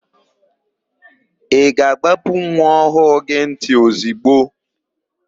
Ị ga-àgbápú nwa ọhụụ gị ntị ozigbo?